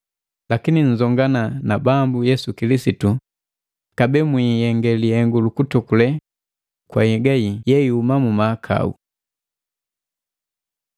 Lakini nzongana na Bambu Yesu Kilisitu, kabee mwiihenge lihengu lukutokulee kwa nhyega yii yeihumi mu mahakau.